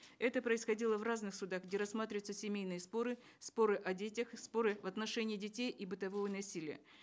это происходило в разных судах где рассматриваются семейные споры споры о детях споры в отношении детей и бытового насилия